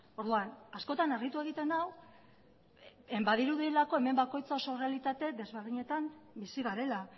orduan askotan harritu egiten nau badirudielako hemen bakoitzak oso errealitate desberdinetan bizi garela